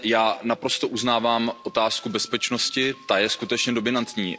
Já naprosto uznávám otázku bezpečnosti, ta je skutečně dominantní.